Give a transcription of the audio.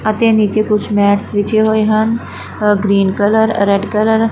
ਅਤੇ ਨੀਚੇ ਕੁਛ ਮੈਟਸ ਵਿਛੇ ਹੋਏ ਹਨ uh green colour uh red colour --